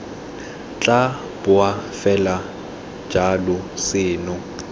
tla boa fela jalo seno